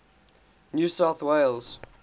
new south wales